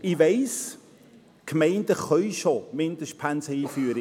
Ich weiss: Die Gemeinden schon Mindestpensen einführen;